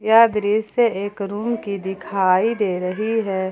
यह दृश्य एक रूम की दिखाई दे रही है।